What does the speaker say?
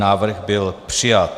Návrh byl přijat.